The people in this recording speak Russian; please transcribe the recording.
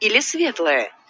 или светлое